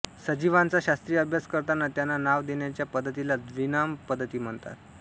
सजीवांचा शास्त्रीय अभ्यास करताना त्यांना नाव देण्याच्या पद्धतीला द्विनाम पद्धती म्हणतात